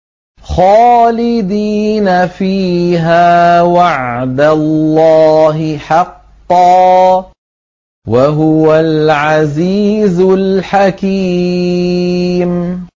خَالِدِينَ فِيهَا ۖ وَعْدَ اللَّهِ حَقًّا ۚ وَهُوَ الْعَزِيزُ الْحَكِيمُ